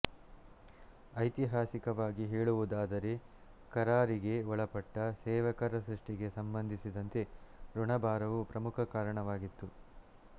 ಐತಿಹಾಸಿಕವಾಗಿ ಹೇಳುವುದಾದರೆ ಕರಾರಿಗೆ ಒಳಪಟ್ಟ ಸೇವಕರ ಸೃಷ್ಟಿಗೆ ಸಂಬಂಧಿಸಿದಂತೆ ಋಣಭಾರವು ಪ್ರಮುಖ ಕಾರಣವಾಗಿತ್ತು